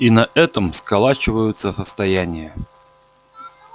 и на этом сколачиваются состояния